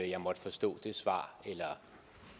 jeg måtte forstå det svar eller